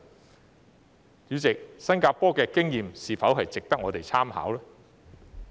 代理主席，新加坡的經驗是否值得我們參考呢？